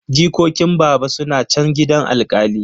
Jikokin baba suna chan gidan alkali.